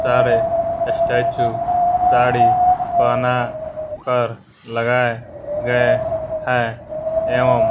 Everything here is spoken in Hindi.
सारे स्टेच्यू साड़ी पहना कर लगाए गए है एवं--